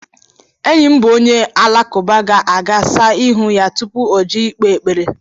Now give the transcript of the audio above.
Enyi m bụ onye alakụba ga-aga saa ihu ya tupu o jee ịkpe ekpere.